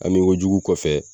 Hami kojugu kɔfɛ